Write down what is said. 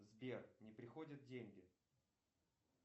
сбер не приходят деньги